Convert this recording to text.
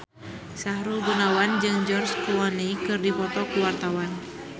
Sahrul Gunawan jeung George Clooney keur dipoto ku wartawan